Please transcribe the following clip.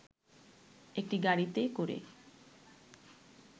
একটি গাড়িতে করে